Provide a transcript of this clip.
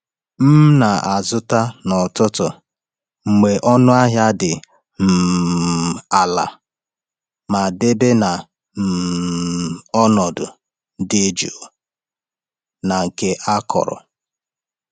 M na-azụta n’ọtụtù mgbe ọnụ ahịa dị um ala ma debe na um ọnọdụ dị jụụ na nke akọrọ.